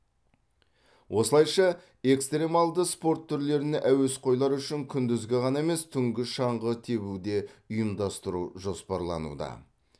осылайша экстремалды спорт түрлеріне әуесқойлар үшін күндізгі ғана емес түнгі шаңғы тебуді де ұйымдастыру жоспарлануда